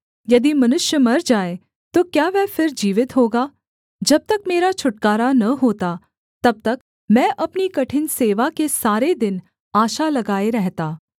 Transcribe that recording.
यदि मनुष्य मर जाए तो क्या वह फिर जीवित होगा जब तक मेरा छुटकारा न होता तब तक मैं अपनी कठिन सेवा के सारे दिन आशा लगाए रहता